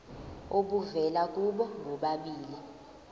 obuvela kubo bobabili